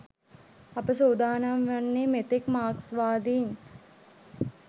අප සූදානම් වන්නේ මෙතෙක් මාක්ස්වාදීන්